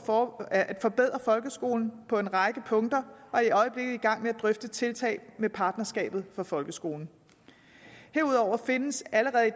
for at forbedre folkeskolen på en række punkter og er i øjeblikket i gang med at drøfte tiltag med partnerskabet for folkeskolen herudover findes allerede i